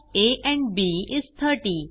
sum of a and b is 30